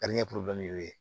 y'o ye